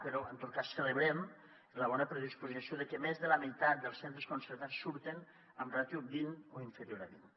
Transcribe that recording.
però en tot cas celebrem la bona predisposició de que més de la meitat dels centres concertats surten amb ràtio vint o inferior a vint